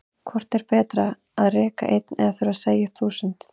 Hvort er betra að reka einn eða þurfa að segja upp þúsund?